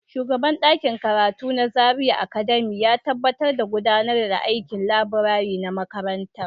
Shugaban ɗakin karatu na Zaria Academy ya tabbatar da gudanar da aikin laburare na makarantar.